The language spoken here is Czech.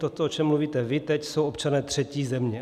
Toto, o čem mluvíte vy teď, jsou občané třetí země.